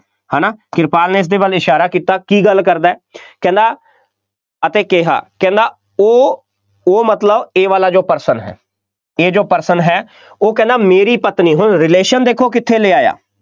ਹੈ ਨਾ, ਕਿਰਪਾਲ ਨੇ ਇਸਦੇ ਵੱਲ ਇਸ਼ਾਰਾ ਕੀਤਾ, ਕੀ ਗੱਲ ਕਰਦਾ, ਕਹਿੰਦਾ ਅਤੇ ਕਿਹਾ ਉਹ ਉਹ ਮਤਲਬ ਇਹ ਵਾਲਾ ਜੋ person ਹੈ, ਇਹ ਜੋ person ਹੈ, ਉਹ ਕਹਿੰਦਾ ਮੇਰੀ ਪਤਨੀ, ਹੁਣ relation ਦੇਖੋ ਕਿੱਥੇ ਲੈ ਆਇਆ,